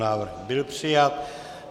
Návrh byl přijat.